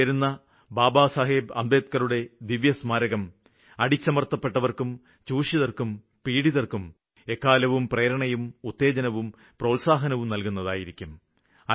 അവിടെ ഉയരുന്ന ബാബാസാഹേബ് അംബേദ്ക്കറുടെ ദിവ്യസ്മാരകം അടിച്ചമര്ത്തപ്പെട്ട വര്ക്കും ചൂഷിതര്ക്കും പീഡിതര്ക്കും എക്കാലവും പ്രേരണയും ഉത്തേജനവും പ്രോത്സാഹനവും നല്കുന്നതായിരിക്കും